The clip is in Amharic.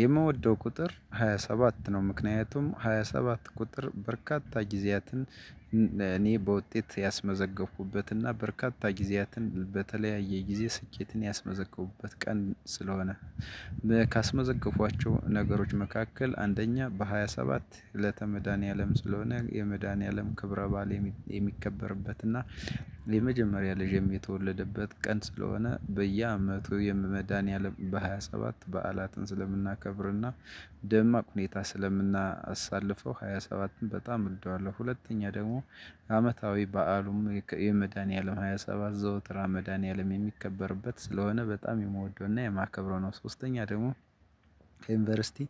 የምወደው ቁጥር ሃያ ሰባት ነው። ምክንያቱም ሃያ ሰባት ቁጥር በርካታ ጊዜያትን እኔ በውጤት ያስመዘገብኩት እና በርካታ ጊዜያትን በተለያየ ጊዜ ስኬትን ያስመዘገብኩበት ቀን ስለሆነ ካስመዘገብኳቸው ነገሮች መካከል አንደኛ በሃያ ሰባት እለተ መድኃኒዓለም ስለሆነ የመድኃኒዓለም ክብረ በዓል የሚከበርበት እና የመጀመሪያ ልጄም የተወለደበት ቀን ስለሆነ በየአመቱ የመድሃኒአለም በሃያ ሰባት በዓላትን ስለምናከብርና ደማቅ ሁኔታ ስለምናሳልፈው ሃያ ሰባትን በጣም እወደዋለሁ። ሁለተኛ ደግሞ አመታዊ በዓሉም የመድኃኒዓለም ሃያ ሰባት ዘወትር መድኃኒዓለም የሚከበርበት ስለሆነ በጣም የምወደውና የማከብረው ነው ሶስተኛ ደግሞ ከዩኒቨርሲቲ